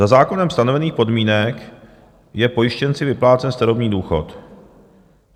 Za zákonem stanovených podmínek je pojištěnci vyplácen starobní důchod.